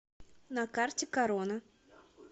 на карте корона